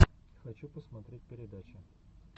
хочу посмотреть передачи